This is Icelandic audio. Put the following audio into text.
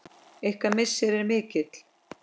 Ykkar missir er mikil.